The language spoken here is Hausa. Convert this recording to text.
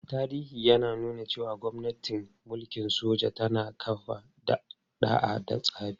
Tarihi ya nuna cewa gwamnatin mulkin soja tana kafa ɗa'a da tsari.